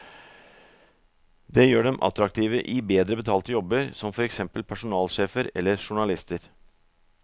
Det gjør dem attraktive i bedre betalte jobber som for eksempel personalsjefer eller journalister.